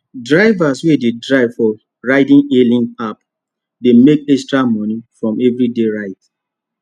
drivers wey dey drive for ride hailing app dey make extra money from everyday ride